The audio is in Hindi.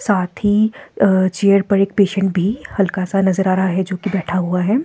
साथ ही अ चेयर पर एक पेशेंट भी हल्का सा नजर आ रहा है जो कि बैठा हुआ है।